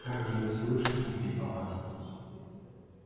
как же не слышать ответила настя